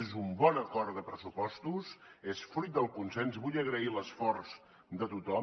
és un bon acord de pressupostos és fruit del consens vull agrair l’esforç de tothom